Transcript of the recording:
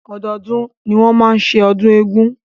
Ọdọọdún ni wọ́n máa ń ṣe ọdún eégún.